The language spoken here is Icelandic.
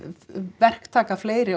verktaka fleiri